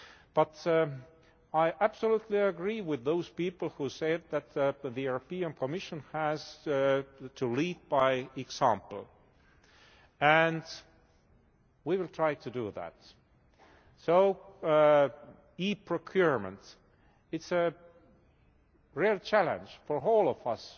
But I absolutely agree with those people who say that the European Commission has to lead by example, and we will try to do that. So e procurement it is a real challenge for all of us.